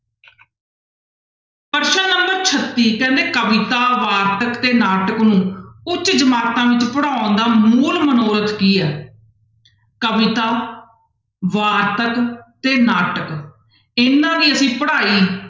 ਪ੍ਰਸ਼ਨ number ਛੱਤੀ ਕਹਿੰਦੇ ਕਵਿਤਾ ਵਾਰਤਕ ਤੇ ਨਾਟਕ ਨੂੰ ਉੱਚ ਜਮਾਤਾਂ ਵਿੱਚ ਪੜ੍ਹਾਉਣ ਦਾ ਮੂਲ ਮਨੋਰਥ ਕੀ ਹੈ, ਕਵਿਤਾ, ਵਾਰਤਕ ਤੇ ਨਾਟਕ ਇਹਨਾਂ ਦੀ ਅਸੀਂ ਪੜ੍ਹਾਈ